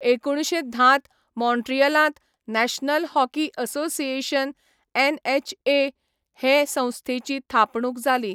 एकुणशे धांत मॉन्ट्रियलांत नॅशनल हॉकी असोसिएशन एनएचए हे संस्थेची थापणूक जाली.